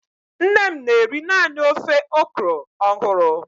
Nne m na-eri naanị ofe okro ọhụrụ.